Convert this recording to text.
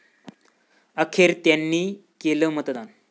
अखेर 'त्यांनी' केलं मतदान